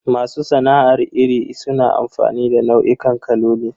Masu sana'ar rini suna amfani da nau'ikan kaloli.